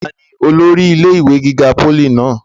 ta ni olórí ilé ìwé gíga pólì náà?